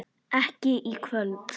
Ekki í kvöld.